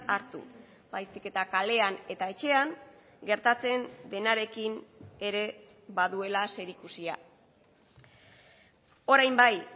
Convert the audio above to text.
hartu baizik eta kalean eta etxean gertatzen denarekin ere baduela zerikusia orain bai